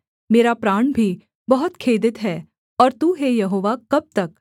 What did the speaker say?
मेरा प्राण भी बहुत खेदित है और तू हे यहोवा कब तक